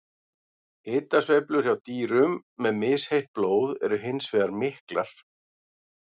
Hitasveiflur hjá dýrum með misheitt blóð eru hins vegar miklar.